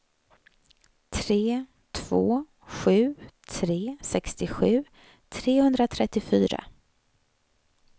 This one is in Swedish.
tre två sju tre sextiosju trehundratrettiofyra